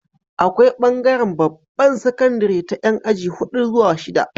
Akwai bangaran babbar sakandari ta Yan aji hudu zuwa shida